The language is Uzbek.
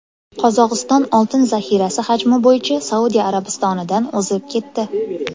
Qozog‘iston oltin zaxirasi hajmi bo‘yicha Saudiya Arabistonidan o‘zib ketdi.